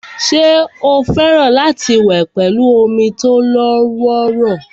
ṣé ó fẹ́ràn láti wẹ̀ pẹ̀lú omi tó lọ́wọ́rọ́